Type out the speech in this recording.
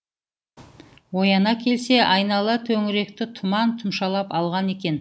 ояна келсе айнала төңіректі тұман тұмшалап алған екен